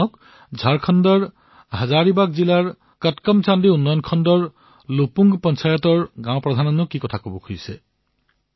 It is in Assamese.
শুনক ঝাৰখণ্ডৰ হাজাৰিবাগ জিলাৰ কটকমসাণ্ডী ব্লকৰ লুপুং পঞ্চায়ত পঞ্চায়ত কৰ্মীয়ে আমাক সকলোকে কি বাৰ্তা প্ৰদান কৰিছে